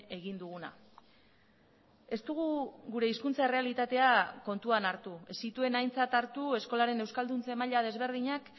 egin duguna ez dugu gure hizkuntza errealitatea kontuan hartu ez zituen aintzat hartu eskolaren euskalduntze maila desberdinak